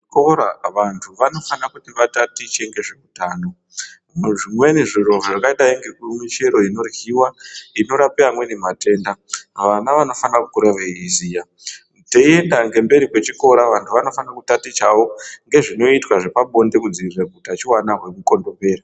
Kuchikora vantu vanofira kuti vatatiche ngezve utano. Muzvikora zvimwe zviro zvakadai nemichero inorapa matenda vana vanofanira kukura veiziva. Teyienda ngemberi kwechikora vantu vanofanira kutatichavo nezvinoitwa zvepabonde kudzivirira utachiona hwemukondombera.